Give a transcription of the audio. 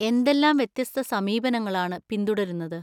എന്തെല്ലാം വ്യത്യസ്ത സമീപനങ്ങളാണ് പിന്തുടരുന്നത്?